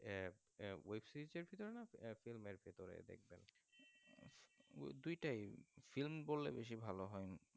আহ Web series তুলনায় দেখবেন দুইটাই film বললে বেশি ভালো হয়